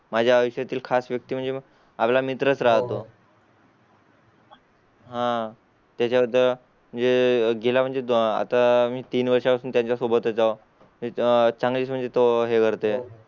माझ्या आयुष्या तील खास व्यक्ती म्हणजे आपला मित्र राहतो. हां त्याच्या बद्दल जे गेला म्हणजे आता मी तीन वर्षा पासून त्याच्या सोबतच्या त्याच्या चांगली म्हणतो हे करते.